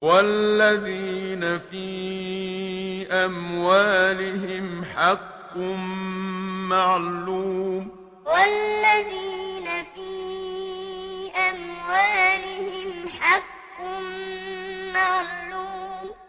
وَالَّذِينَ فِي أَمْوَالِهِمْ حَقٌّ مَّعْلُومٌ وَالَّذِينَ فِي أَمْوَالِهِمْ حَقٌّ مَّعْلُومٌ